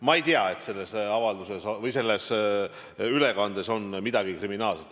Ma ei tea, et selles ülekandes oleks midagi kriminaalset.